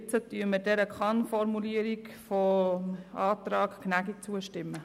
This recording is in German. Jetzt werden wir der Kann-Formulierung gemäss dem Antrag Gnägi zustimmen.